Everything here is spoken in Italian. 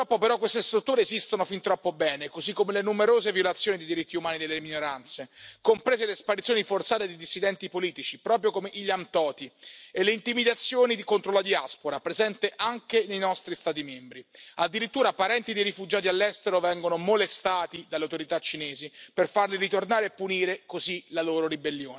Purtroppo, però, queste strutture esistono fin troppo bene, così come le numerose violazioni di diritti umani delle minoranze, comprese le sparizioni forzate di dissidenti politici, proprio come Ilam Tohti, e le intimidazioni contro la diaspora presenti anche nei nostri Stati membri, addirittura parenti dei rifugiati all'estero vengono molestati dalle autorità cinesi per farli ritornare e punire così la